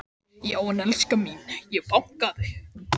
Já en elskan mín. ég bankaði!